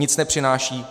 Nic nepřináší?